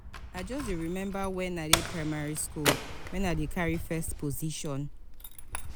i just dey remember when i dey primary school when i dey carry first position.